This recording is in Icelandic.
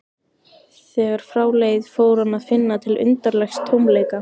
Þegar frá leið fór hann að finna til undarlegs tómleika.